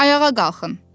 Ayağa qalxın.